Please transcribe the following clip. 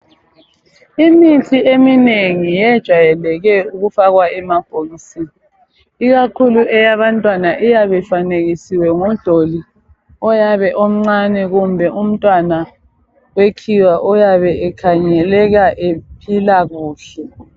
Imithi eminengi yejwayeleke ukufakwa emabhokisini ikakhulu eyabantwana iyabifanekisiwe ngodoli oyabe omncane kumbe umntwana wekhiwa oyabe ekhangeleka ephila kuhle.